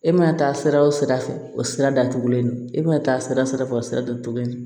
E mana taa sira o sira fɛ o sira da tugulen don e mana taa sira sira fɛ o sira don cogo ɲɛ